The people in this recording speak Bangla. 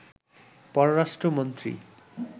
পররাষ্ট্র মন্ত্রী